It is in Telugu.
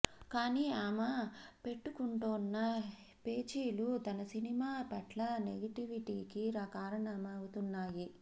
కానీ ఆమె పెట్టుకుంటోన్న పేచీలు తన సినిమా పట్ల నెగెటివిటీకి కారణమవుతున్నాయి